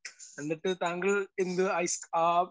speaker 1 എന്നിട്ട് താങ്കൾ എന്ത് അയ് ആ